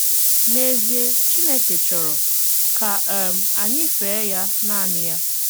N'èzịè, Chínékè chọ̀rọ̀ kà um ànyị́ féè yá nànị́ yá.